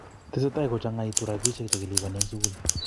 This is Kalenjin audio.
Tesetai kochangituu robishe che kilubanik eng sukul.